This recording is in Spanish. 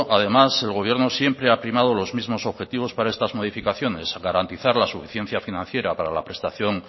además el gobierno siempre ha primado los mismos objetivos para estas modificaciones garantizar la suficiencia financiera para la prestación